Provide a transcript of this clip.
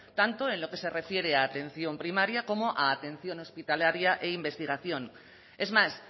tanto en lo que se refiere a atención primaria como a atención hospitalaria e investigación es más